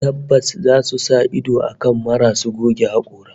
Tabbas zasu sa ido kan marasu goge hakora